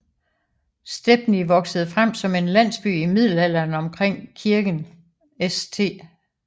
Stepney voksede frem som en landsby i Middelalderen omkring kirken St